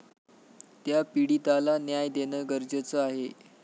त्या पीडिताला न्याय देणं गरजेचं आहे.